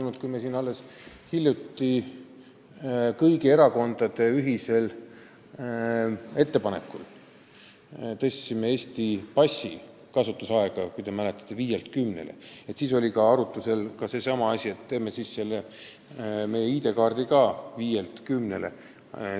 Kui te mäletate, siis me alles hiljuti tõstsime siin kõigi erakondade ühisel ettepanekul Eesti passi kasutusaega viielt kümnele ja arutusel oli ka see, et viia meie ID-kaardi kehtivus viielt aastalt kümnele.